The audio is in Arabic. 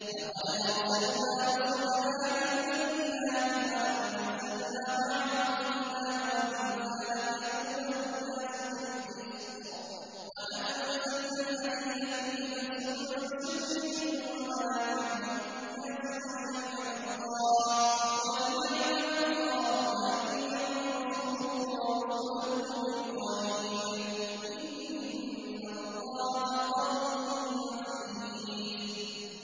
لَقَدْ أَرْسَلْنَا رُسُلَنَا بِالْبَيِّنَاتِ وَأَنزَلْنَا مَعَهُمُ الْكِتَابَ وَالْمِيزَانَ لِيَقُومَ النَّاسُ بِالْقِسْطِ ۖ وَأَنزَلْنَا الْحَدِيدَ فِيهِ بَأْسٌ شَدِيدٌ وَمَنَافِعُ لِلنَّاسِ وَلِيَعْلَمَ اللَّهُ مَن يَنصُرُهُ وَرُسُلَهُ بِالْغَيْبِ ۚ إِنَّ اللَّهَ قَوِيٌّ عَزِيزٌ